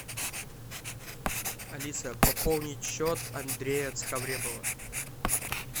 алиса пополнить счет андрея цхавребова